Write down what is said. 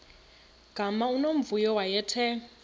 gama unomvuyo wayethe